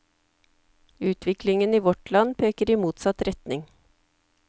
Utviklingen i vårt land peker i motsatt retning.